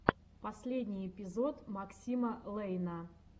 последний эпизод максима лэйна